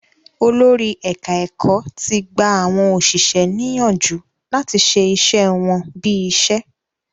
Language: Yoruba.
Olórí ẹ̀ka-ẹ̀kọ́ ti gba àwọn òṣìṣẹ́ ní yánjù láti ṣe iṣẹ́ wọ́n bí iṣẹ́.